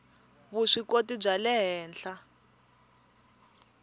vuswikoti bya le henhla